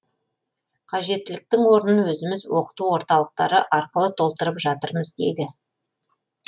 қажеттіліктің орнын өзіміз оқыту орталықтары арқылы толтырып жатырмыз дейді